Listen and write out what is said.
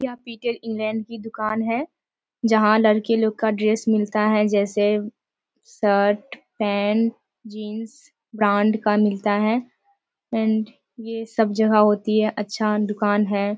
यहां Peter England की दुकान है। जहां लड़के लोग का ड्रेस मिलता है जैसे शर्ट पेंट जींस ब्रांड का मिलता है एंड ये सब जगह होती है। अच्छा दुकान है।